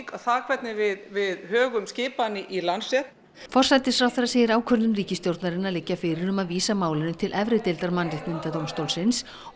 það hvernig við við högum skipan í Landsrétt forsætisráðherra segir ákvörðun ríkisstjórnarinnar liggja fyrir um að vísa málinu til efri deildar Mannréttindadómstólsins og